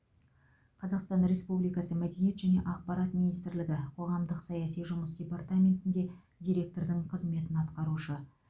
қазақстан республикасы мәдениет және ақпарат министрлігі қоғамдық саяси жұмыс департаментінде диреткордың қызметін атқарушы